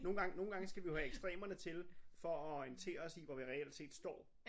Nogen gange nogen gange skal vi jo have ekstremerne til for at orientere os i hvor vi reelt set står